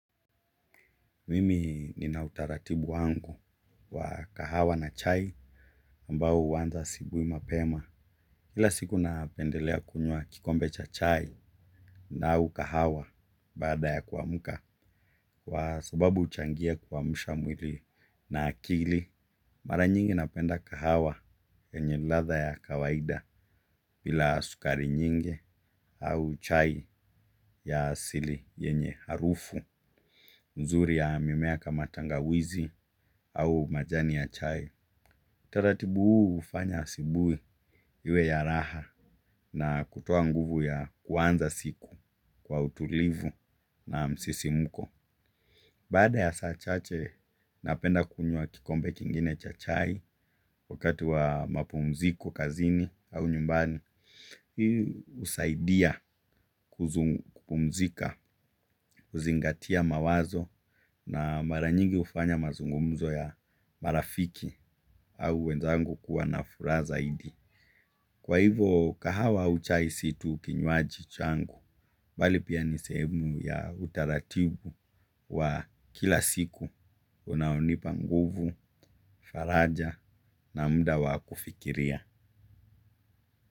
Mimi nina utaratibu wangu wa kahawa na chai ambao wanza asubuhi mapema. Kila siku napendelea kunywa kikombe cha chai na au kahawa baada ya kuamuka. Kww sababu huchangia kuamsha mwili na akili. Mara nyingi napenda kahawa yenye ladha ya kawaida bila sukari nyingi au chai ya asili yenye harufu. Mzuri ya mimea kama tangawizi au majani ya chai. Taratibu huu hufanya asubuhi iwe ya raha na kutoa nguvu ya kuanza siku kwa utulivu na msisimuko. Baada ya saa chache napenda kunywa kikombe kingine cha chai wakati wa mapumziko kazini au nyumbani. Hii husaidia kuzungumzika, zingatia mawazo na maranyingi hufanya mazungumzo ya marafiki au wenzangu kuwa na furaha zaidi. Kwa hivo kahawa au chai si tu kinwaji changu, bali pia ni sehemu ya utaratibu wa kila siku unaonipa nguvu, faraja na muda wa kufikiria.